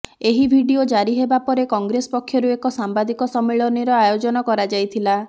ଏହି ଭିଡିଓ ଜାରି ହେବା ପରେ କଂଗ୍ରେସ ପକ୍ଷରୁ ଏକ ସାମ୍ବାଦିକ ସମ୍ମିଳନୀର ଆୟୋଜନ କରାଯାଇଥିଲା